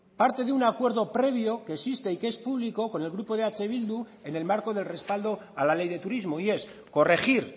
parte de un acuerdo previo que existe y que es público con el grupo de eh bildu en el marco del respaldo a la ley de turismo y es corregir